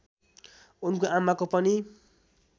उनको आमाको पनि